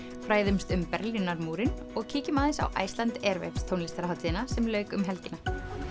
fræðumst um Berlínarmúrinn og kíkjum aðeins á Iceland Airwaves tónlistarhátíðina sem lauk um helgina